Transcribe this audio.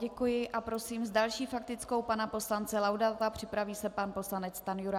Děkuji a prosím s další faktickou pana poslance Laudáta, připraví se pan poslanec Stanjura.